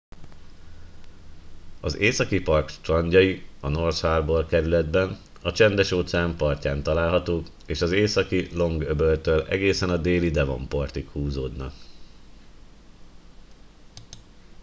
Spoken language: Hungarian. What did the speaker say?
az északi part strandjai a north harbour kerületben a csendes-óceán partján találhatók és az északi long-öböltől egészen a déli devonportig húzódnak